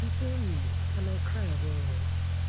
e pain me and i cry well well